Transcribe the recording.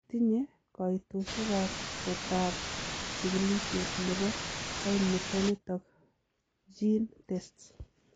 Tinye koitosiekab kotab chikilisiet nebo koimutioniton GeneTests.